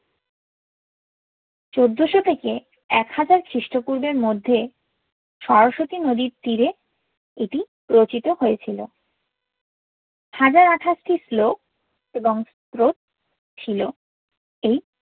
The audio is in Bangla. চৌদ্দশো থেকে এক হাজার খ্রিস্তপুর্বের মধ্যে সরস্বতী নদীর তীরে এতি রোচিতো হোয়েছিলো হাজার আথাসতি শ্লোক এবং স্রোত ছিলো এই